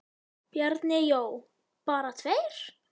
Bjarni Jó: Bara tveir?!